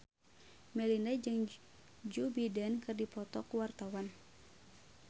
Melinda jeung Joe Biden keur dipoto ku wartawan